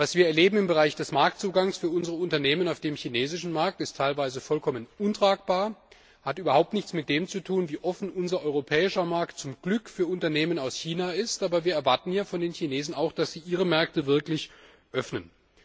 Was wir im Bereich des Marktzugangs für unsere Unternehmen auf dem chinesischen Markt erleben, ist teilweise vollkommen untragbar und hat überhaupt nichts mit dem zu tun, wie offen unser europäischer Markt zum Glück für Unternehmen aus China ist, aber wir erwarten hier von den Chinesen auch, dass sie ihre Märkte wirklich öffnen.